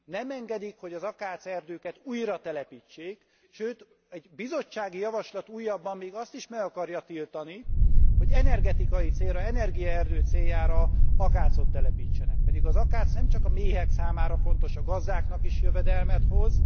Nem engedik, hogy az akácerdőket újratelepítsék, sőt egy bizottsági javaslat újabban még azt is meg akarja tiltani, hogy energetikai célra, energiaerdő céljára akácot telepítsenek, pedig az akác nem csak a méhek számára fontos, a gazdáknak is jövedelmet hoz.